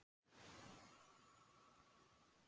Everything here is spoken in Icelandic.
Enda kallaður Mæðrastyrksnefndin.